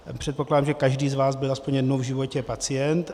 Předpokládám, že každý z vás byl aspoň jednou v životě pacient.